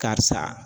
Karisa